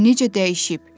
O necə dəyişib?"